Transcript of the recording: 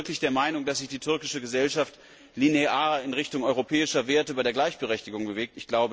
Aber sind wir wirklich der Meinung, dass sich die türkische Gesellschaft linear in Richtung europäischer Werte bei der Gleichberechtigung bewegt?